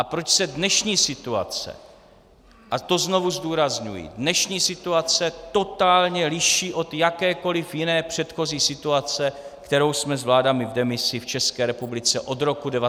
A proč se dnešní situace, a to znovu zdůrazňuji, dnešní situace totálně liší od jakékoliv jiné předchozí situace, kterou jsme s vládami v demisi v České republice od roku 1989 zažili.